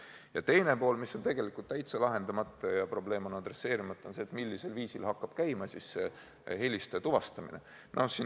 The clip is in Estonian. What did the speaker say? Ja teine pool, mis on tegelikult täitsa lahendamata ja probleem adresseerimata, on see, millisel viisil hakatakse helistajat tuvastama.